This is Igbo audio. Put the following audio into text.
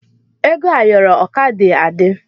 Ego ayoro o ka dị adị.